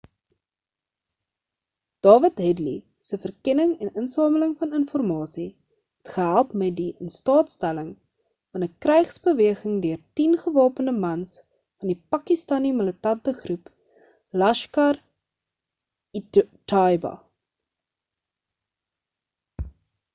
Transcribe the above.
dawid headly se verkenning en insameling van informasie het gehelp met die in staat stelling van 'n krygsbeweging deur 10 gewapende mans van die pakistani militante groep laskhar-e-taiba